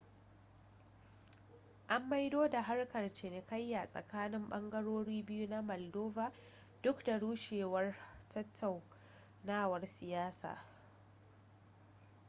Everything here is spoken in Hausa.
an maido da harkar cinikayya tsakanin bangarori biyu na maldova duk da rushewar tattaunawar siyasa